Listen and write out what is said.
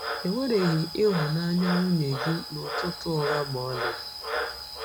Ewereghị ịhụnanya nwunye gị n’ụtụtụ ụgha ma ọlị.